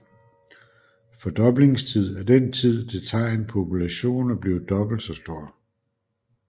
Fordoblingstid er den tid det tager en population at blive dobbelt så stor